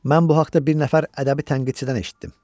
Mən bu haqda bir nəfər ədəbi tənqidçidən eşitdim.